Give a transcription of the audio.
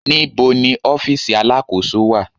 Níbo ni ọ́fíìsì Alákóso wà?